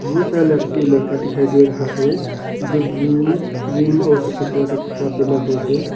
बहुत सारा लड़की और लड़का दिखाई दे रहा है जो ब्लू ग्रीन और सफेद कलर का कपड़ा पहना हुआ है।